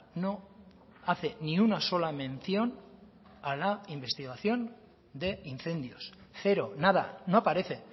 no hace ni una sola mención a la investigación de incendios cero nada no aparece